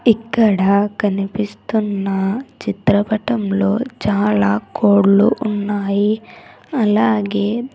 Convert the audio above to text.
ఇక్కడ కనిపిస్తున్న చిత్రపటంలో చాలా కోళ్లు ఉన్నాయి అలాగే.